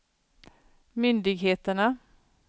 myndigheterna